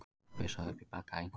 Að pissa upp í bagga einhvers